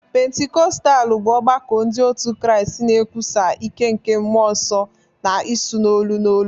Pentikọstal bụ ọgbakọ ndị otu Kraịst na-ekwusa ike nke Mmụọ Nsọ na ịsụ n'olu n'olu.